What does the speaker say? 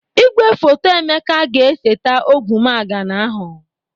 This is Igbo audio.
Igwefoto Emeka ga-eseta ogwumagana ahụ